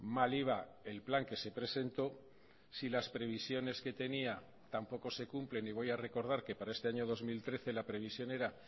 mal iba el plan que se presentó si las previsiones que tenía tampoco se cumplen y voy a recordar que para este año dos mil trece la previsión era